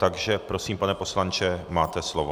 Takže prosím, pane poslanče, máte slovo.